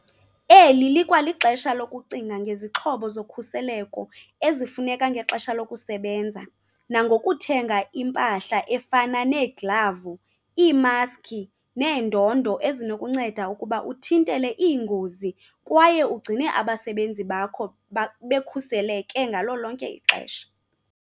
Eli likwalixesha lokucinga ngezixhobo zokhuseleko ezifuneka ngexesha lokusebenza nangokuthenga impahla efana neeglavu, iimaskhi neendondo ezinokukunceda ukuba uthintele iingozi kwaye ugcine abasebenzi bakho bekhuseleke ngalo lonke ixesha.